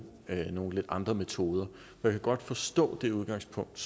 nogle lidt andre metoder jeg kan godt forstå det udgangspunkt